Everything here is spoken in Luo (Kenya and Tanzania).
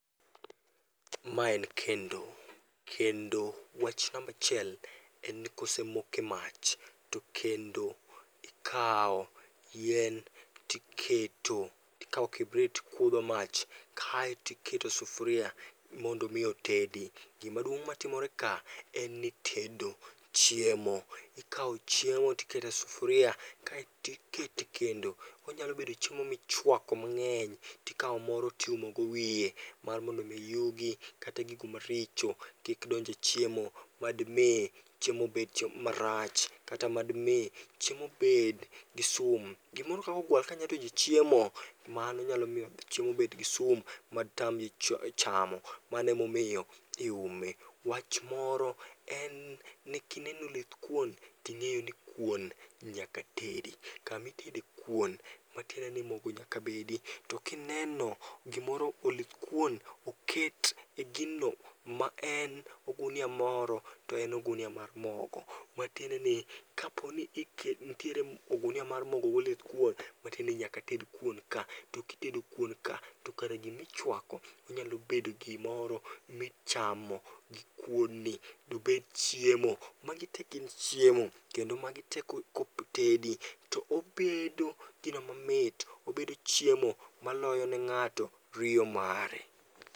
Ma en kendo, kendo wach nambachiel en ni kosemoke mach, to kendo ikawo yien tiketo. Tikawo kibrit tikutho mach kaetiketo sufuria mondo mi otedi. Gimaduong' matimore ka en ni itedo chiemo, ikawo chiemo tikete sufuria, kaeti kete kendo. Onyalo bedo chiemo michwako mang'eny, tikawo moro tiumogo wiye, mar mondo mi yugi kata gigo maricho kik donje chiemo. Madmi chiemo bed chiemo marach, kata madmi chiemo bed gi sum. Gimoro kakogwal kanyadonje chiemo, mano nyalomiyo chiemo bed gi sum ma tamji chamo, manemomiyo iume. Wach moro en ni kineno olithkuon, ting'eyo ni kuon nyaka tedi. Kamitede kuon matiende ni mogo nyaka bedi. To kineno gimoro olithkuon oket e gino ma en ogunia moro to en ogunia mar mogo. Matiende ni kaponi ike nitiere ogunia mar mogo goluthkuon, matiendeni nyaka ted kuon ka. To kitedo kuon ka, to kare gimichwako onyalo bedo gimoro michamo gi kuon ni. Dobed chiemo, magite gin chiemo, kendo magi te kotedi to obedo gino mamit. Obedo chiemo maloyo ne ng'ato riyo mare.